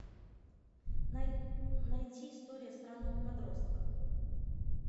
найти история странного подростка